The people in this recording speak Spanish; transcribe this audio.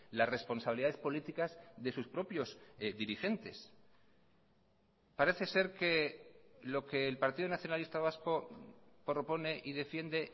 las responsabilidades políticas de sus propios dirigentes parece ser que lo que el partido nacionalista vasco propone y defiende